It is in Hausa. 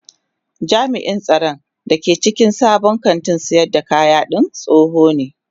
Jami'in tsaron da ke cikin sabon kantin sayar da kayadin tsoho ne